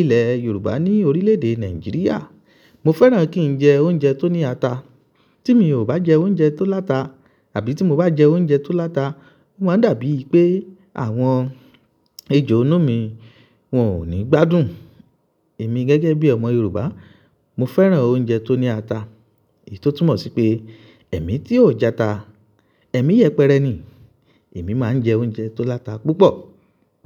ilẹ̀ Yorùbá ní orílẹ̀ èdè Nàìjíríà, mo fẹ́ràn kí n jẹ oúnjẹ tó ní ata. Tí mi ò bá jẹ oúnjẹ tó láta àbí tí mo bá jẹ oúnjẹ tó láta, o máa n dàbí pé àwọn ejò inú mi wọn ò ní gbádùn. Èmi gẹ́gẹ́ bí ọmọ Yorùbá, mo fẹ́ràn oúnjẹ tó ní ata. Èyí tó túmọ̀ sí pé ẹ̀mi tí ò jẹ ata, ẹ̀mi yẹpẹrẹ ni. Èmi máa ń jẹ oúnjẹ tó láta púpọ̀.